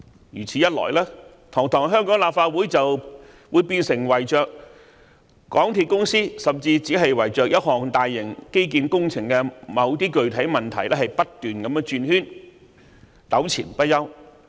如果是這樣，堂堂香港立法會就會變成圍繞港鐵公司，甚至只是圍繞一項大型基建工程的某些具體問題不斷轉圈，糾纏不休。